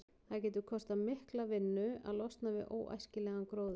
Það getur kostað mikla vinnu að losna við óæskilegan gróður.